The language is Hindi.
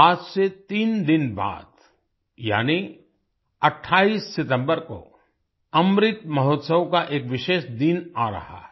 आज से तीन दिन बाद यानी 28 सितम्बर को अमृत महोत्सव का एक विशेष दिन आ रहा है